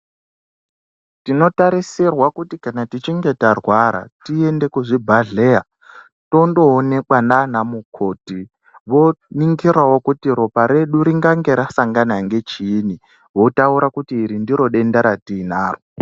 Tinotasirirwa kuti kana tichinge tarwara tiende kuzvibhadhleya tondoonekwa nanamukoti. Voningirawo kuti ropa redu ringange rasangana ngechiini, votaura kuti iri ndiro denda ratinaro.